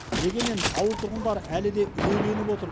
дегенмен ауыл тұрғындары әлі де үрейленіп отыр